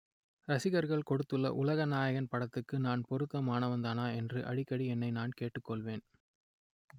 ரசிகர்கள் கொடுத்துள்ள உலக நாயகன் பட்டத்துக்கு நான் பொருத்தமானவன்தானா என்று அடிக்கடி என்னையே நான் கேட்டுக் கொள்வேன்